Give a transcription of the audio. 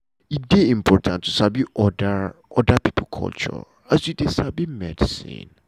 e dey important to sabi oda oda pipo culture as you dey sabi medicine.